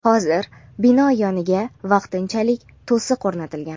Hozir bino yoniga vaqtinchalik to‘siq o‘rnatilgan.